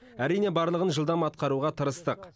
әрине барлығын жылдам атқаруға тырыстық